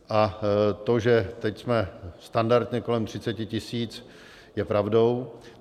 A to, že teď jsme standardně kolem 30 tisíc, je pravdou.